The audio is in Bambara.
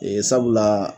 Ee sabula